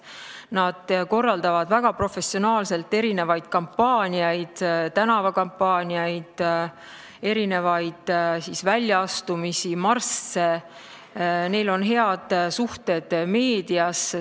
Nad korraldavad väga professionaalselt kampaaniaid, tänavakampaaniaid, väljaastumisi, marsse, neil on head suhted meedias.